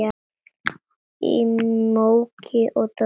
Í móki og dormi.